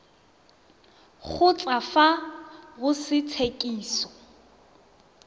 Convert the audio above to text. kgotsa fa go se tshekiso